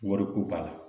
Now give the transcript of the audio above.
Wariko b'a la